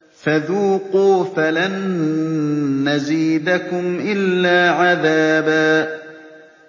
فَذُوقُوا فَلَن نَّزِيدَكُمْ إِلَّا عَذَابًا